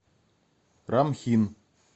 рамхин